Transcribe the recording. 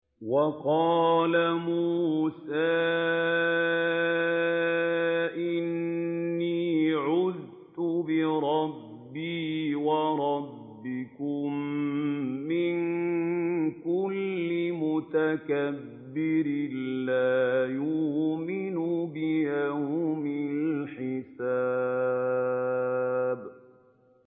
وَقَالَ مُوسَىٰ إِنِّي عُذْتُ بِرَبِّي وَرَبِّكُم مِّن كُلِّ مُتَكَبِّرٍ لَّا يُؤْمِنُ بِيَوْمِ الْحِسَابِ